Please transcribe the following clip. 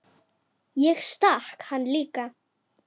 Ég stakk hann líka.